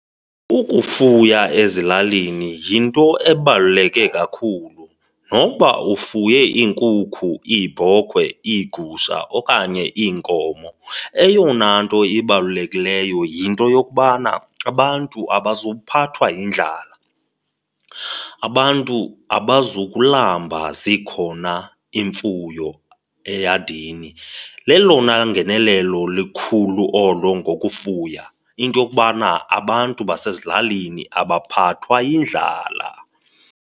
Ukufuya ezilalini yinto ebaluleke kakhulu. Nokuba ufuye iinkukhu, iibhokhwe, iigusha okanye iinkomo, eyona nto ibalulekileyo yinto yokubana abantu abazuphathwa yindlala, abantu abazukulamba zikhona iimfuyo eyadini. Lelona ngenelelo likhulu olo ngokufuya, into yokubana abantu basezilalini abaphathwa yindlala.